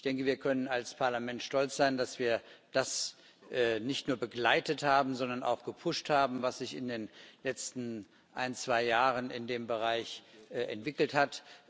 Ich denke, wir können als Parlament stolz sein, dass wir das nicht nur begleitet, sondern auch gepusht haben, was sich in den letzten ein, zwei Jahren im Bereich der GSVP entwickelt hat.